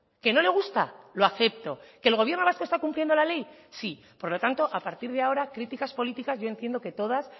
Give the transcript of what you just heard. que no le gusta lo acepto que el gobierno vasco está cumpliendo la ley sí por lo tanto a partir de ahora críticas políticas yo entiendo que todas